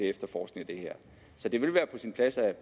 efterforskning af det her så det ville være på sin plads at